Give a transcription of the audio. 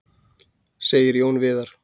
Segir Jón Viðar.